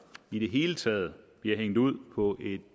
i det hele taget bliver hængt ud på et